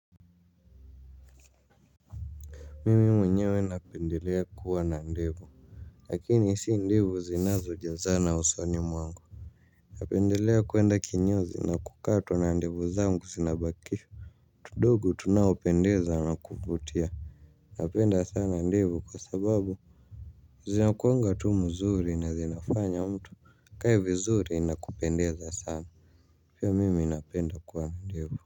Mimi mwenye napendelea kuwa na ndevu. Lakini si ndevu zinazo jazana usoni mwangu. Napendelea kuenda kinyozi na kukatwa na ndevu zangu zinabakishwa tudogo tunao pendeza na kuvutia. Napenda sana ndevu kwa sababu zinakuwanga tu mzuri na zinafanya mtu akae vizuri na kupendeza sana pia mimi napenda kuwa na ndevu.